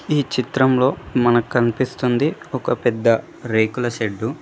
ఈ చిత్రంలో మనక్ కనిపిస్తుంది ఒక పెద్ద రేకుల షెడ్డు .